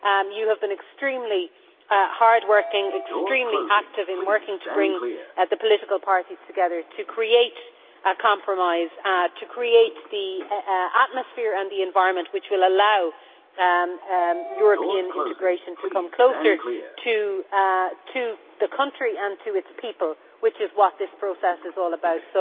You have been extremely hard working and extremely active in working to bring the political parties together to create a compromise, to create the atmosphere and the environment which will allow European integration to come closer to the country and to its people, which is what this process is all about.